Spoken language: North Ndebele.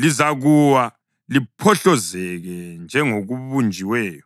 lizakuwa liphohlozeke njengokubunjiweyo.